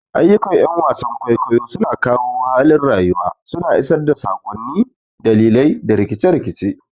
Ayyukan ƴan wasan kwaikwayo suna kawo halin rayuwa, suna isar da sakonni, dalilai, da rikice-rikice.